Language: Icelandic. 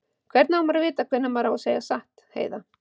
Hvernig á maður að vita hvenær maður á að segja satt, Heiða?